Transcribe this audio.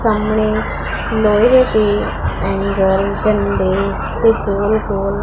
ਸਾਹਮਣੇ ਲੋਹੇ ਦੇ ਐਂਗਲ ਡੰਡੇ ਤੇ ਗੋਲ ਗੋਲ--